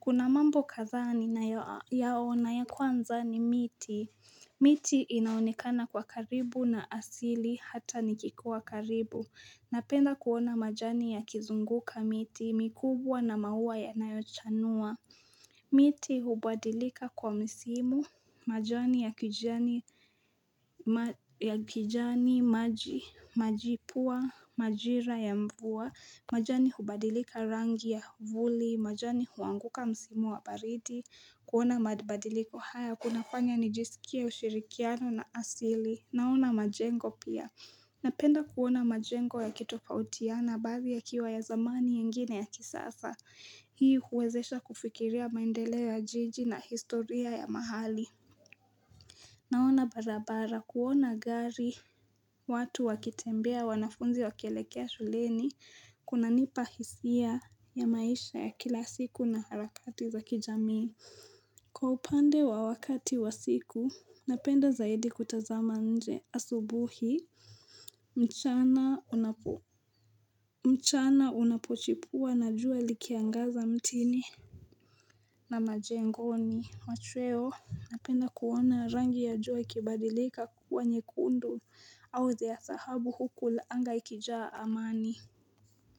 Kuna mambo kadhaa ninayoyaona, ya kwanza ni miti. Miti inaonekana kwa karibu na asili, hata nikikuwa karibu. Napenda kuona majani yakizunguka miti mikubwa na maua ya nayochanua. Miti hubadilika kwa msimu, majani ya kijani ya kijani, majipua, majira ya mvua, majani hubadilika rangi ya vuli, majani huanguka msimu wa baridi, kuona mabadiliko haya, kunafanya nijisikia ushirikiano na asili, naona majengo pia. Napenda kuona majengo yakitopautiana mbaathi yakiwa ya zamani, yengine ya kisasa. Hii huwezesha kufikiria maendeleo ya jiji na historia ya mahali. Naona barabara, kuona gari, watu wakitembea, wanafunzi wakielekea shuleni, kunanipa hisia ya maisha ya kila siku na harakati za kijamii. Kwa upande wa wakati wa siku, napenda zaidi kutazama nje asubuhi mchana unapochipua na jua likiangaza mtini na majengoni, machweo, napenda kuona rangi ya jua ikibadilika kuwa nyekundu au zea dhahabu huku anga likijaa amani.